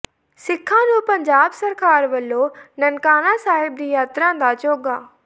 ਸਿੱਖਾਂ ਨੂੰ ਪੰਜਾਬ ਸਰਕਾਰ ਵੱਲੋਂ ਨਨਕਾਣਾ ਸਾਹਿਬ ਦੀ ਯਾਤਰਾ ਦਾ ਚੋਗ਼ਾ